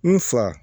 N fa